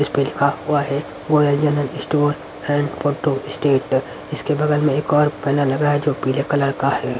इस पे लिखा हुआ है वोयल general store and photo state इसके बगल में एक और पैनल लगा है जो पीले कलर का है.